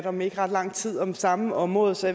om ikke ret lang tid om samme område så